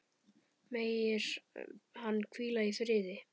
Megir hann hvíla í friði.